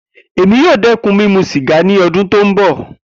Emi yoo dẹkun mimu siga ni ọdun ti n bọ.